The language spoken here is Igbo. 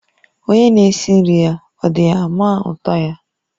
Onye n'esi nri-ya, ọ̀ dighi-ama utọ-ya?